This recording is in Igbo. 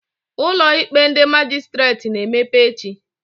Ụlọ ikpe ndị Majistreti ga-emepe echi